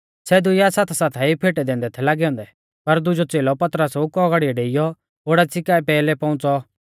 सै दुइआ साथासाथाई फेटै दैंदै थै लागै औन्दै पर दुजौ च़ेलौ पतरसा कु औगाड़िऐ डेइऔ ओडाच़ी काऐ पैहलै पौउंच़ौ